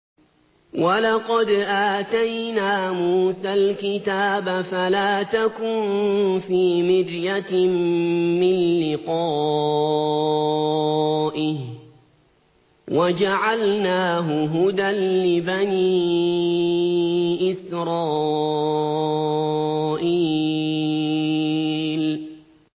وَلَقَدْ آتَيْنَا مُوسَى الْكِتَابَ فَلَا تَكُن فِي مِرْيَةٍ مِّن لِّقَائِهِ ۖ وَجَعَلْنَاهُ هُدًى لِّبَنِي إِسْرَائِيلَ